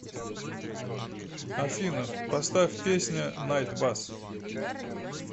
афина поставь песня найтбас